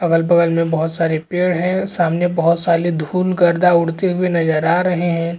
अगल-बगल में बोहोत सारे पेड़ है सामने बोहोत सारे धूल गड़दा उड़ते हुए नज़र आ रहे है।